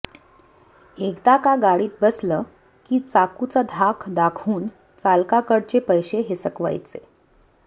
एकदा का गाडीत बसलं की चाकूचा धाक दाखवून चालकाकडचे पैसे हिसकवायचे